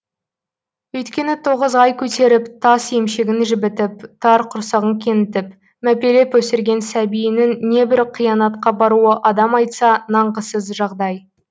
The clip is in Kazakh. өйткені тоғыз ай көтеріп тас емшегін жібітіп тар құрсағын кеңітіп мәпелеп өсірген сәбиінің небір қиянатқа баруы адам айтса нанғысыз жағдай